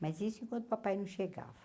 Mas isso enquanto o papai não chegava.